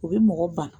U bɛ mɔgɔ ban